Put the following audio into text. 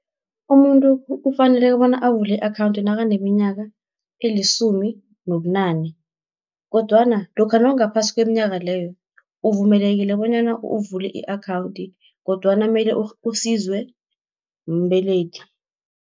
Umuntu kufanele bona avule i-akhawunthi nakaneminyaka elisumi nobunane, kodwana lokha nawungaphasi kweminyaka leyo, uvumelekile bonyana uvule i-akhawunthi kodwana mele usizwe mbelethi.